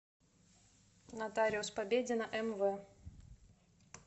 нотариус победина мв